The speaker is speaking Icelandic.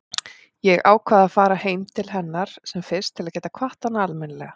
Ég ákvað að fara heim til hennar sem fyrst til að geta kvatt hana almennilega.